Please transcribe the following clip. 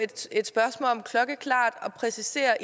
et spørgsmål om klokkeklart at præcisere